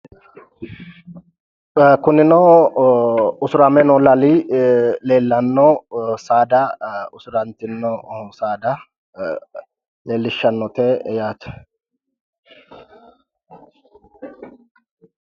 Kunino usurame noo lali leellanno saada, usurantinno saada leellishshannote yaate.